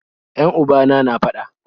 Yan ubana na fada